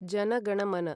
जन गण मन